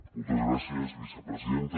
moltes gràcies vicepresidenta